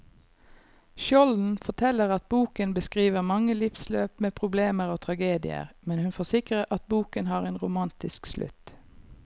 Skjolden forteller at boken beskriver mange livsløp med problemer og tragedier, men hun forsikrer at boken har en romantisk slutt.